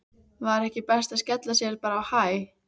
Var ekki best að skella sér bara á Hæ?